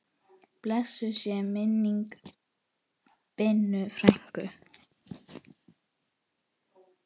Blessuð sé minning Binnu frænku.